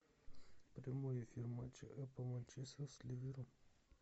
прямой эфир матча апл манчестер с ливером